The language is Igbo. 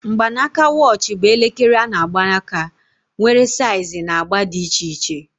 Mgbanaka watch bụ elekere a-na agba aka, nwere saiz na agba dị iche iche